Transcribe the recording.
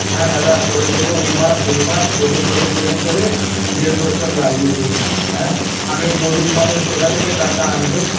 হ্যাঁ দাদা করে দেবো এই মাস ওই মাস করে করে করে করে দেড় বছর লাগিয়ে দিলো আ আমি গরিব মানুষ কোথা থেকে টাকা আনব